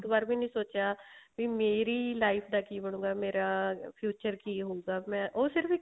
ਇੱਕ ਵਾਰ ਵੀ ਨੀ ਸੋਚਿਆ ਕੀ ਮੇਰੀ life ਦਾ ਕੀ ਬ੍ਣੁਗਾ ਮੇਰਾ future ਕੀ ਹੋਊਗਾ ਉਹ ਸਿਰਫ